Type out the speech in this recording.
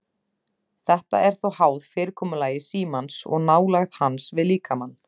Þetta er þó háð fyrirkomulagi símans og nálægð hans við líkamann.